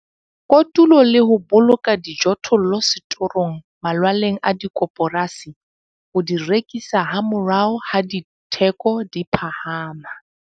Kotula le ho boloka dijothollo setorong malwaleng a dikoporasi ho di rekisa hamorao ha ditheko di phahama.